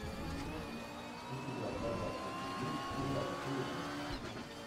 у тебя в загашнике есть сериал сплетница